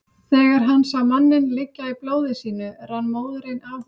Þegar hann sá manninn liggja í blóði sínu rann móðurinn af honum.